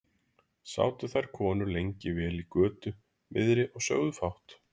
Sátu þær konur lengi vel í götu miðri og sögðu fátt.